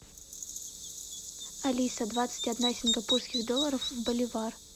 алиса двадцать одна сингапурских долларов в боливар